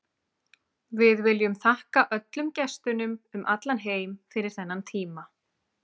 Við viljum þakka öllum gestunum um allan heim fyrir þennan tíma.